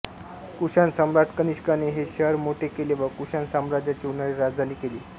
कुषाण सम्राट कनिष्कने हे शहर मोठे केले व कुषाण साम्राज्याची उन्हाळी राजधानी केले